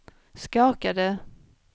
skakade